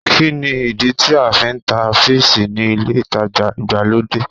Kí ni ìdí tí a fi ń ta píìsì ni ilé-ìtajà ìgbàlódé?